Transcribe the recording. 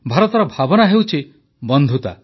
ଭାରତର ଭାବନା ହେଉଛି ବନ୍ଧୁତା